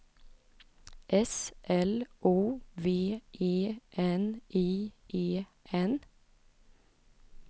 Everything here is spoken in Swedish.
S L O V E N I E N